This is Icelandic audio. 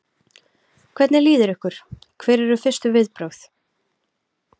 Hvernig líður ykkur, hver eru fyrstu viðbrögð?